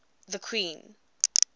the queen